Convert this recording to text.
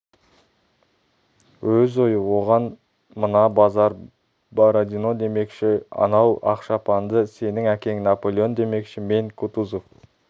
өз ойы оған мына базар бородино демекші анау ақ шапанды сенің әкең наполеон демекші мен кутузов